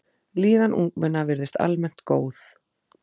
Líðan ungmenna virðist almennt góð.